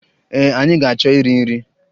Ee, anyị ga-achọ iri nri.